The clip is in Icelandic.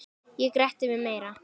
Ég gretti mig meira.